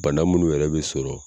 Bana munnuw yɛrɛ bɛ sɔrɔ